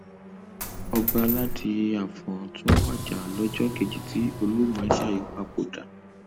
ọbaládì afọn tún wájà lọjọ kejì tí olú ìmasáyí papòdà